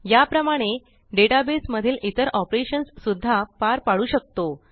या प्रमाणे database मधील इतर ऑपरेशन्स सुद्धा पार पाडू शकतो